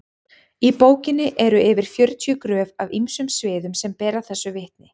í bókinni eru yfir fjörutíu gröf af ýmsum sviðum sem bera þessu vitni